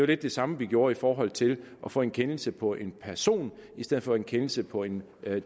lidt det samme vi gjorde i forhold til at få en kendelse på en person i stedet for en kendelse på en